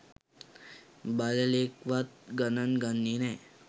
බල්ලෙක්වත් ගණන් ගන්නෙ නෑ.